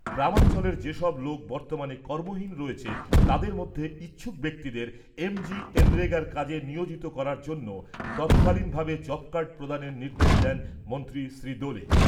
গ্রামাঞ্চলের যেসব লোক বর্তমানে কর্মহীন রয়েছেন তাদের মধ্যে ইচ্ছুক ব্যক্তিদের এমজিএনরেগার কাজে নিয়োজিত করার জন্য তৎকালীনভাবে জবকার্ড প্রদানের নির্দেশ দেন মন্ত্রী শ্রী দোলে।